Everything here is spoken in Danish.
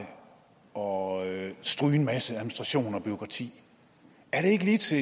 og og stryge en masse administration og bureaukrati er det ikke lige til